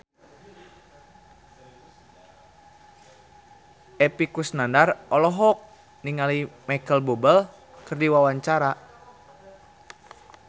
Epy Kusnandar olohok ningali Micheal Bubble keur diwawancara